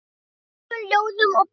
Af sögum, ljóðum og bænum.